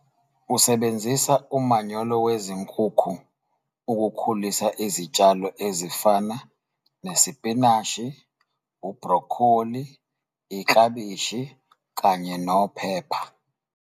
Usebenzisa umanyolo wezinkukhu ukukhulisa izitshalo ezifana nesipinashi, ubhrokholi, iklabishi kanye nophepha.